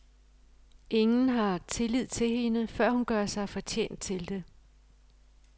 Ingen har tillid til hende, før hun gør sig fortjent til det.